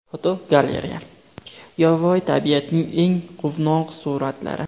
Fotogalereya: Yovvoyi tabiatning eng quvnoq suratlari.